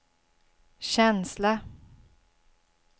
känsla